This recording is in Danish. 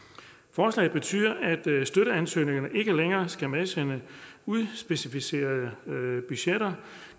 forslaget betyder at støtteansøgerne ikke længere skal medsende udspecificerede budgetter